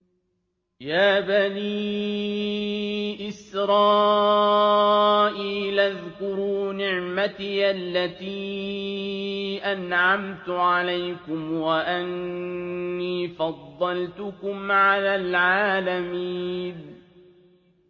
يَا بَنِي إِسْرَائِيلَ اذْكُرُوا نِعْمَتِيَ الَّتِي أَنْعَمْتُ عَلَيْكُمْ وَأَنِّي فَضَّلْتُكُمْ عَلَى الْعَالَمِينَ